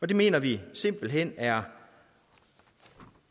det mener vi simpelt hen er